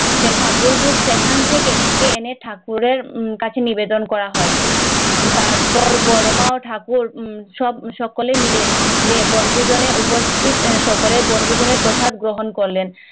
সেন ঠাকুর ভোগ সেখান থেকে এনে ঠাকুরের কাছে নিবেদন করা হয় তারপর বর্মাও ঠাকুর সব সকলে মিলে বনভোজনে উপস্থিত সকলে বনভোজনে প্রসাদ গ্রহণ করলেন